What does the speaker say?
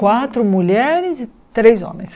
Quatro mulheres e três homens.